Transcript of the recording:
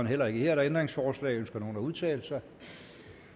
heller ikke her er der ændringsforslag ønsker nogen at udtale sig